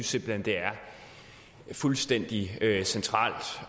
simpelt hen det er fuldstændig centralt